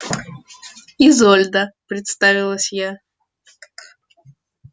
изольда представилась я